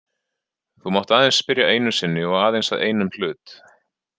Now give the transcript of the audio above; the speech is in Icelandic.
Þú mátt aðeins spyrja einu sinni og aðeins að einum hlut.